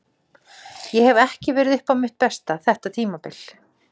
Ég hef ekki verið upp á mitt besta þetta tímabil.